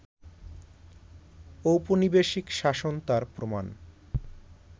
ঔপনিবেশিক শাসন তার প্রমাণ